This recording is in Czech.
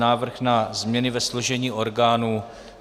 Návrh na změny ve složení orgánů